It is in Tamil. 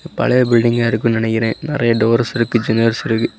பழைய பில்டிங்கா இருக்குனு நனைக்கிறேன் நறைய டோர்ஸ் இருக்கு ஜன்னல்ஸ் இருக்கு.